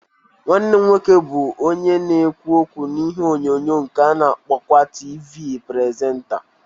Nwannem nwoke bu onye na-ekwu okwu n'ihe onyonyo nke a na-akpokwa Tivi presenta